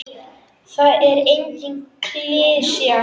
Það er engin klisja.